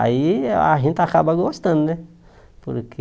Aí a gente acaba gostando, né? Porque